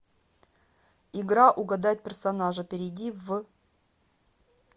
игра угадать персонажа перейди в